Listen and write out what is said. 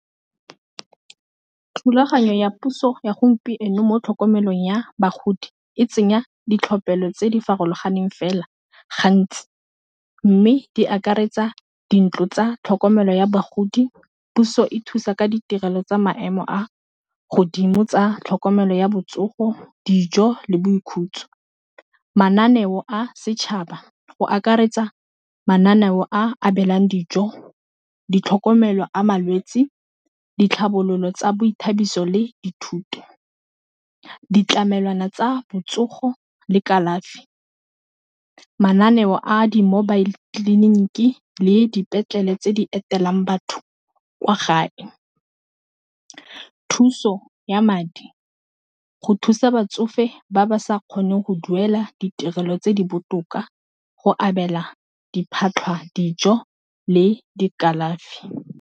Thulaganyo ya puso ya gompieno mo tlhokomelong ya bagodi e tsenya ditlhophelo tse di farologaneng fela gantsi mme di akaretsa dintlo tsa tlhokomelo ya bagodi, puso e thusa ka ditirelo tsa maemo a godimo tsa tlhokomelo ya botsogo, dijo le boikhutso. Mananeo a setšhaba go akaretsa mananeo a abelwang dijo, ditlhokomelo a malwetsi, ditlhabololo tsa boithabiso le dithuto, ditlamelwana tsa botsogo le kalafi mananeo a di-mobile tleliniki le dipetlele tse di etelwang batho kwa gae. Thuso ya madi go thusa batsofe ba ba sa kgoneng go duela ditirelo tse di botoka go abela dijo le dikalafi.